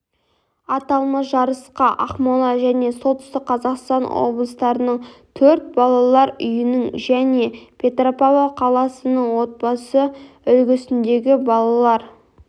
аталмыш жарысқа ақмола және солтүстік қазақстан облыстарының төрт балалар үйінің және петропавл қаласының отбасы үлгісіндегі балалар